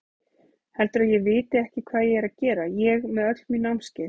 Heldurðu að ég viti ekki hvað ég er að gera, ég með öll mín námskeið.